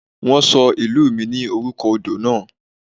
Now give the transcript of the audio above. Wọ́n ṣọ ìlú mi ní orúkọ odò náà.